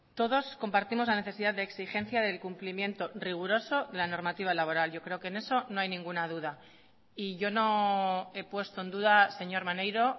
todos compartimos la necesidad de exigencia del cumplimiento riguroso de la normativa laboral yo creo que en eso no hay ninguna duda y yo no he puesto en duda señor maneiro